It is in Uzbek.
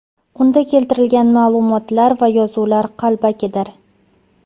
Unda keltirilgan ma’lumotlar va yozuvlar qalbakidir.